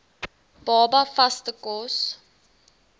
baba vaste kos